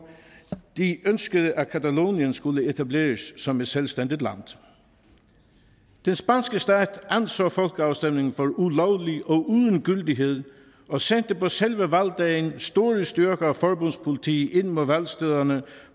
de ønskede at catalonien skulle etableres som et selvstændigt land den spanske stat anså folkeafstemningen for ulovlig og uden gyldighed og sendte på selve valgdagen store styrker af forbundspoliti ind mod valgstederne